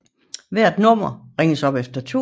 Hvert nummer ringes op efter tur